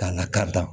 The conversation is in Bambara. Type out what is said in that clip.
K'a lakari